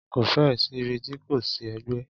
Ko fẹ́ ẹ̀ sí ibi ti kò ti sí ẹgbẹ́.